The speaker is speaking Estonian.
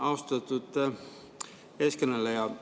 Austatud eeskõneleja!